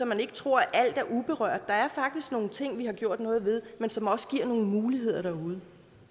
man ikke tror at alt er uberørt der er faktisk nogle ting vi har gjort noget ved men som også giver nogle muligheder derude